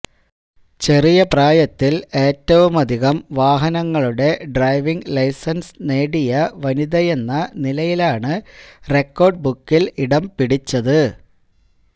ചെറിയ പ്രായത്തില് ഏറ്റുവുമധികം വാഹനങ്ങളുടെ ഡ്രൈവിംഗ് ലൈസന്സ് നേടിയ വനിതയെന്ന നിലയിലാണ് റെക്കോര്ഡ് ബുക്കില് ഇടം പിടിച്ചത്